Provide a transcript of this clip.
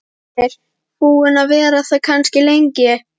Heimir: Búin að vera það kannski lengi?